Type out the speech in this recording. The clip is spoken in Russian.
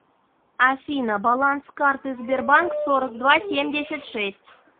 афина баланс карты сбербанк сорок два семьдесят шесть